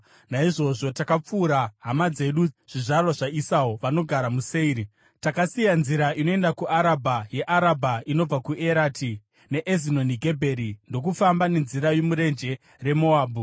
Naizvozvo takapfuura hama dzedu zvizvarwa zvaEsau, vanogara muSeiri. Takasiya nzira inoenda kuArabha, yeArabha, inobva kuErati neEzioni Gebheri, ndokufamba nenzira yomurenje reMoabhu.